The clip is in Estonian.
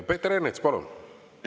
Peeter Ernits, palun!